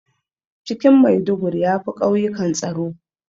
Cikin Maiduguri yafi ƙauyikan tsaro